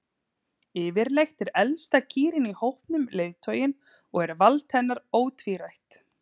Yfirleitt er elsta kýrin í hópnum leiðtoginn og er vald hennar ótvírætt.